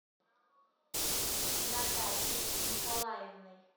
натальей николаевной